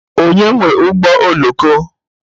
Onye nwe ụgbọ oloko?